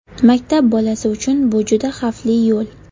Maktab bolasi uchun bu juda xavfli yo‘l.